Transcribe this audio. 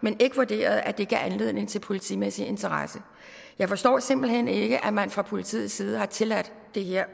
men ikke vurderede at det gav anledning til politimæssig interesse jeg forstår simpelt hen ikke at man fra politiets side har tilladt det her